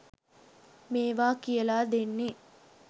මේවා කියලා දෙන්නේ